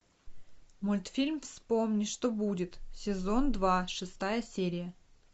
мультфильм вспомни что будет сезон два шестая серия